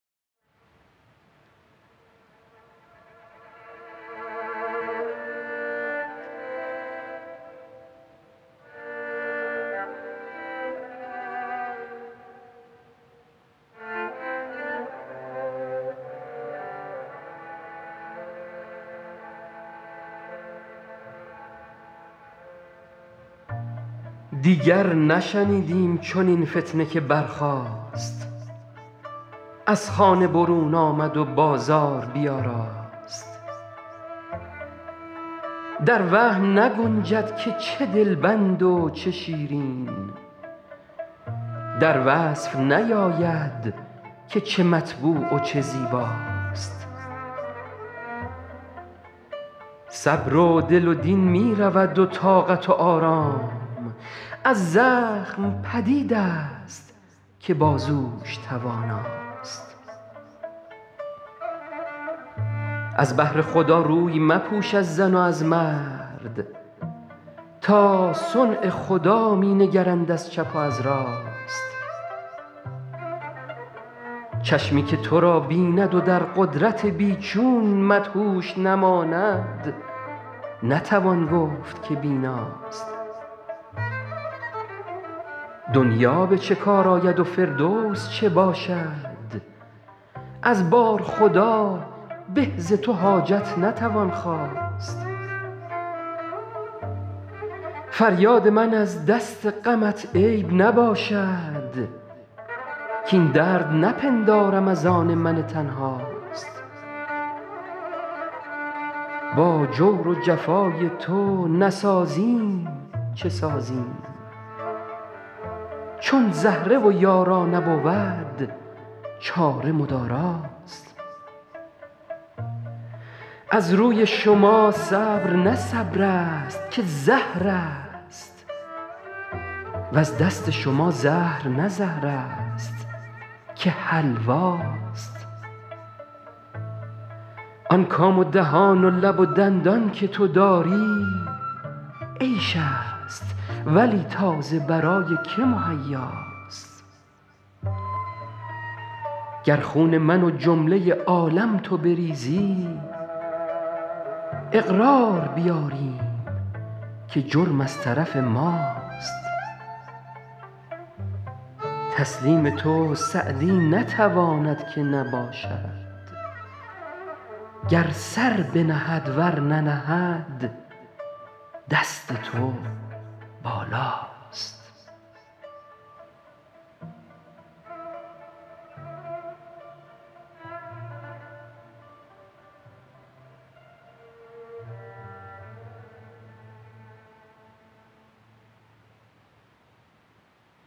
دیگر نشنیدیم چنین فتنه که برخاست از خانه برون آمد و بازار بیاراست در وهم نگنجد که چه دلبند و چه شیرین در وصف نیاید که چه مطبوع و چه زیباست صبر و دل و دین می رود و طاقت و آرام از زخم پدید است که بازوش تواناست از بهر خدا روی مپوش از زن و از مرد تا صنع خدا می نگرند از چپ و از راست چشمی که تو را بیند و در قدرت بی چون مدهوش نماند نتوان گفت که بیناست دنیا به چه کار آید و فردوس چه باشد از بارخدا به ز تو حاجت نتوان خواست فریاد من از دست غمت عیب نباشد کاین درد نپندارم از آن من تنهاست با جور و جفای تو نسازیم چه سازیم چون زهره و یارا نبود چاره مداراست از روی شما صبر نه صبر است که زهر است وز دست شما زهر نه زهر است که حلواست آن کام و دهان و لب و دندان که تو داری عیش است ولی تا ز برای که مهیاست گر خون من و جمله عالم تو بریزی اقرار بیاریم که جرم از طرف ماست تسلیم تو سعدی نتواند که نباشد گر سر بنهد ور ننهد دست تو بالاست